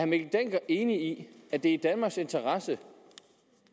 mikkel dencker enig i at det er i danmarks interesse